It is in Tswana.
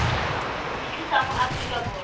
di tlisa mo aforika borwa